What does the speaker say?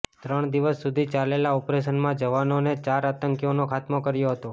ત્રણ દિવસ સુધી ચાલેલા ઓપરેશનમાં જવાનોએ ચાર આતંકીઓનો ખાત્મો કર્યો હતો